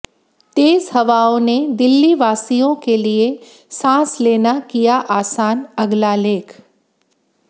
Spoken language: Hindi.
तेज हवाओं ने दिल्ली वासियों के लिए सांस लेना किया आसान अगला लेख